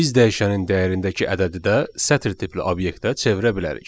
Biz dəyişənin dəyərindəki ədədi də sətir tipli obyektə çevirə bilərik.